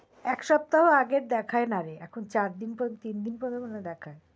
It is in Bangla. একসপ্তাহ আগে আর দেখায় না রে এখন চারদিন পর তিনদিন পর পর পর্যন্ত দেখায়